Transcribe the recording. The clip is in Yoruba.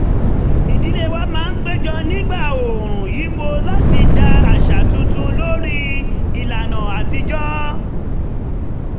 ìdílé wa máa ń péjọ nígbà oòrùn yípo láti dá àṣà tuntun lórí ìlànà àtijọ́